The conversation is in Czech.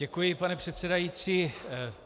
Děkuji, pane předsedající.